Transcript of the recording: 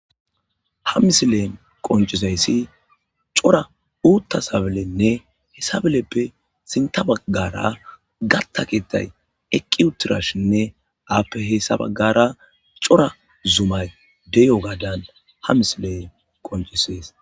Ha misileen qoncisayssi cora uutta sabalenne he sabeleppe sinta baggara gatta keettay eqqi uttirashinne aappe hessa baggara cora zumay deyo gaadan ha misile qoncisees.